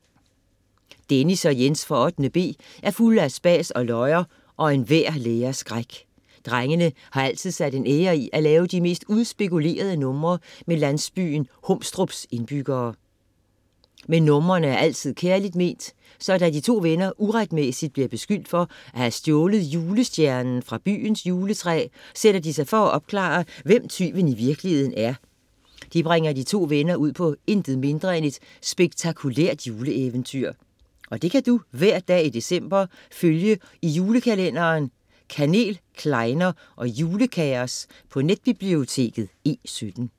Dennis og Jens fra 8.b er fulde af spas og løjer, og enhver lærers skræk. Drengene har altid sat en ære i at lave de mest udspekulerede numre med landsbyens Humstrups indbyggere. Men numrene er altid kærligt ment, så da de to venner uretmæssigt bliver beskyldt for at have stjålet julestjernen fra byens juletræ, sætter de sig for at opklare, hvem tyven i virkeligheden er. Det bringer de to venner ud på et intet mindre end spektakulært juleeventyr. Og det kan du hver dag i december følge i julekalenderen " Kanel, klejner og julekaos" på netbiblioteket E17.